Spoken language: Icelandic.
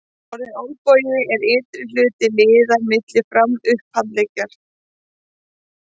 Orðið olnbogi er ytri hluti liðar milli fram- og upphandleggjar.